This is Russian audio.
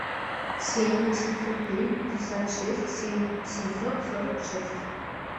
семь восемьсот три пятьдесят шесть семь семьсот сорок шесть